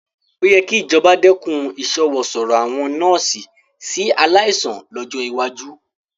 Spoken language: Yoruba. Ó yẹ kí ìjọba dẹ́kun ìṣọwọ́sọ̀rọ̀ àwọn nọ́ọ́sì sí aláìsàn lọ́jọ́ iwájú